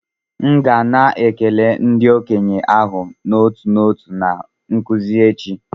M ga na-ekele ndị okenye ahụ n'otu n'otu na nzukọ echi